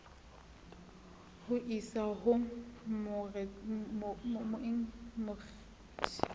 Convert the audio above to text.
ho o isa ho makgistrata